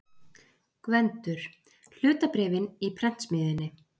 GVENDUR: Hlutabréfin í prentsmiðjunni.